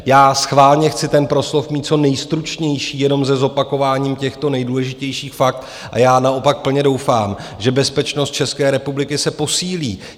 Já schválně chci ten proslov mít co nejstručnější, jenom ze zopakování těchto nejdůležitějších fakt, a já naopak plně doufám, že bezpečnost České republiky se posílí.